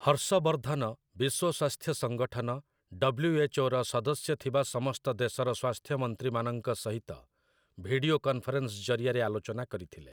ହର୍ଷ ବର୍ଦ୍ଧନ ବିଶ୍ୱ ସ୍ଵାସ୍ଥ୍ୟ ସଂଗଠନ, 'ଡବ୍ଲ୍ୟୁ.ଏଚ୍. ଓ',ର ସଦସ୍ୟ ଥିବା ସମସ୍ତ ଦେଶର ସ୍ଵାସ୍ଥ୍ୟମନ୍ତ୍ରୀମାନଙ୍କ ସହିତ ଭିଡିଓ କନ୍‌ଫରେନ୍‌ସ ଜରିଆରେ ଆଲୋଚନା କରିଥିଲେ ।